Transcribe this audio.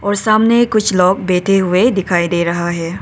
और सामने कुछ लोग बैठे हुए दिखाई दे रहा है।